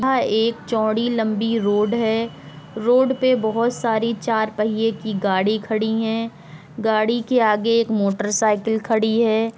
यह एक चौड़ी लंबी रोड है | रोड पे बोहोत सारी चार पहिये की गाड़ी खड़ी है गाड़ी के आगे एक मोटर साइकिल खड़ी है।